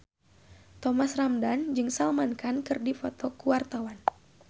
Thomas Ramdhan jeung Salman Khan keur dipoto ku wartawan